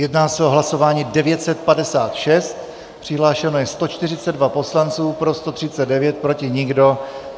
Jedná se o hlasování 956, přihlášeno je 142 poslanců, pro 139, proti nikdo.